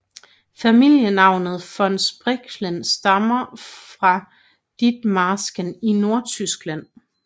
Familienavnet von Spreckelsen stammer fra Ditmarsken i Nordtyskland